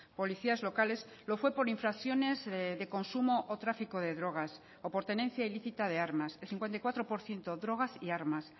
policías locales lo fue por infracciones de consumo o tráfico de drogas o por tenencia ilícita de armas el cincuenta y cuatro por ciento drogas y armas